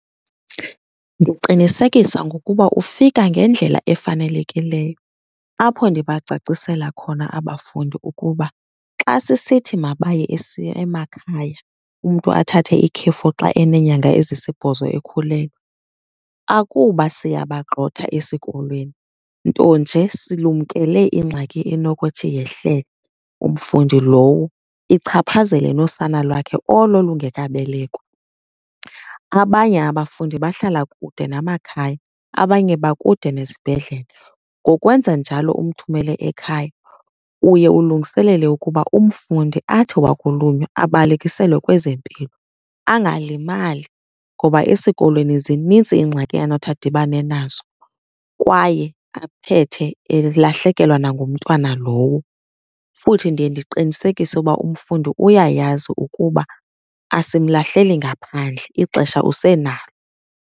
Ndiqinisekisa ngokuba ufika ngendlela efanelekileyo apho ndibacacisela khona abafundi ukuba xa sisithi mabaye emakhaya, umntu athathe ikhefu xa eneenyanga ezisibhozo ekhulelwe akuba siyabagxotha esikolweni. Nto nje silumkele ingxaki enokuthi yehlele umfundi lowo, ichaphazele nosana lwakhe olo lungekabelekwa. Abanye abafundi bahlala kude namakhaya, abanye bakude nezibhedlele. Ngokwenza njalo umthumele ekhaya uye ulungiselele ukuba umfundi athi wakulunywa abalekiselwe kwezempilo angalimali, ngoba esikolweni zinintsi iingxaki anothi adibane nazo kwaye aphethe elahlekelwa nangumntwana lowo. Futhi ndiye ndiqinisekise ukuba umfundi uyayazi ukuba asimlahleli ngaphandle, ixesha usenalo.